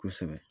Kosɛbɛ